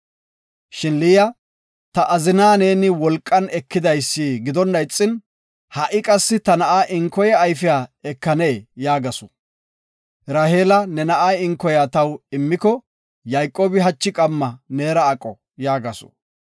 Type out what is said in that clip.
Shin Liya, “Ta azinaa neeni wolqan ekidaysi gidonna ixin ha7i qassi ta na7a inkoya mitha ayfiya ekanee?” yaagasu. Raheela, “Ne na7a inkoya ayfiya taw immiko, Yayqoobi hachi qamma neera aqo” yaagasu.